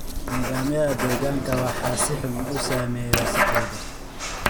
Nidaamyada deegaanka waxaa si xun u saameeya wasakhowga.